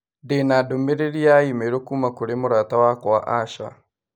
Ndĩ na ndũmĩrĩri ya i-mīrū kuuma kũrĩ mũrata wakwa Asha.